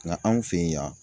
Nka anw fɛ yen yan.